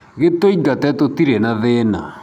gĩtũingate tũtirĩ na thĩna.